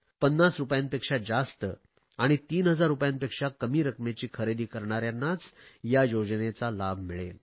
50 रुपयांपेक्षा जास्त आणि 3000 रुपयांपेक्षा कमी रकमेची खरेदी करणाऱ्यांनाच या योजनेचा लाभ मिळेल